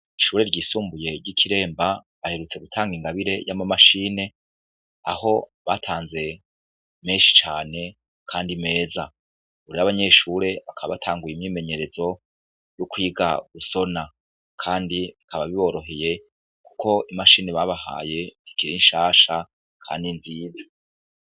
Ishure ryisumbuye ry'ikiremba baherutse gutanga Ingabire y'amamashine ,aho batanze menshi cane kandi meza ,ubu rero abanyeshure bakaba batanguye imyimenyerezo yokwi gusona kandi bikaba biboroheye kuko imashine babahaye zikiri nshasha kandi nziza.